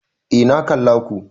Eh na kalla ko